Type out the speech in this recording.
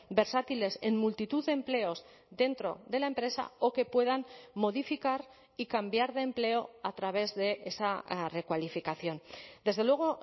versátiles en multitud de empleos dentro de la empresa o que puedan modificar y cambiar de empleo a través de esa recualificación desde luego